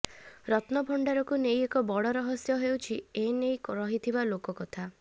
ରତ୍ନଭଣ୍ଡାରକୁ ନେଇ ଏକ ବଡ ରହସ୍ୟ ହେଉଛି ଏନେଇ ରହିଥିବା ଲୋକକଥା